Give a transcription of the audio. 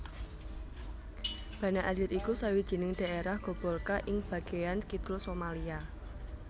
Banaadir iku sawijining dhaerah gobolka ing bagéan kidul Somalia